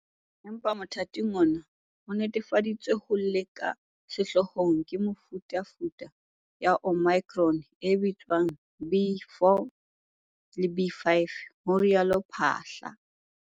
"Empa motha ting ona, ho netefaditsweng ho le ka sehloohong ke mefutafuta ya Omicron e bitswang B.4 le B.5," ho rialo Phaahla.